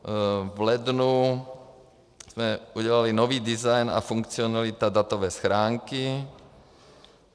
V lednu jsme udělali nový design a funkcionalita datové schránky.